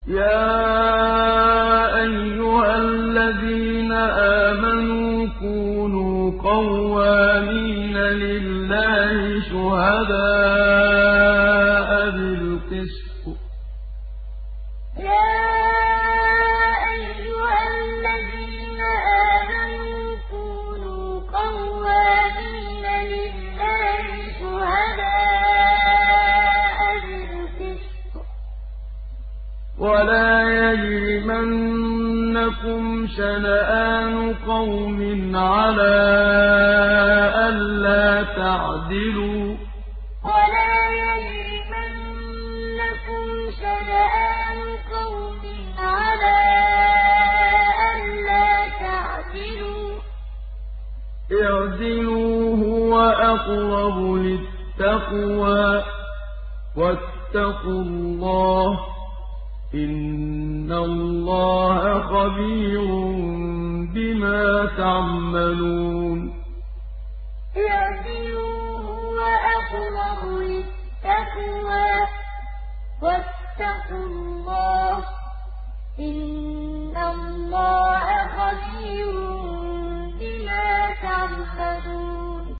يَا أَيُّهَا الَّذِينَ آمَنُوا كُونُوا قَوَّامِينَ لِلَّهِ شُهَدَاءَ بِالْقِسْطِ ۖ وَلَا يَجْرِمَنَّكُمْ شَنَآنُ قَوْمٍ عَلَىٰ أَلَّا تَعْدِلُوا ۚ اعْدِلُوا هُوَ أَقْرَبُ لِلتَّقْوَىٰ ۖ وَاتَّقُوا اللَّهَ ۚ إِنَّ اللَّهَ خَبِيرٌ بِمَا تَعْمَلُونَ يَا أَيُّهَا الَّذِينَ آمَنُوا كُونُوا قَوَّامِينَ لِلَّهِ شُهَدَاءَ بِالْقِسْطِ ۖ وَلَا يَجْرِمَنَّكُمْ شَنَآنُ قَوْمٍ عَلَىٰ أَلَّا تَعْدِلُوا ۚ اعْدِلُوا هُوَ أَقْرَبُ لِلتَّقْوَىٰ ۖ وَاتَّقُوا اللَّهَ ۚ إِنَّ اللَّهَ خَبِيرٌ بِمَا تَعْمَلُونَ